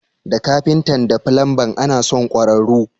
Da kafitan da filanba ana son kwararru.